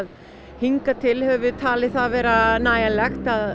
hingað til höfum við talið það vera nægjanlegt